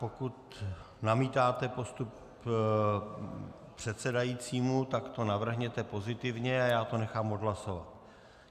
Pokud namítáte postup předsedajícího, tak to navrhněte pozitivně a já to nechám odhlasovat.